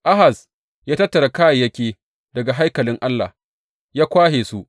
Ahaz ya tattara kayayyaki daga haikalin Allah ya kwashe su.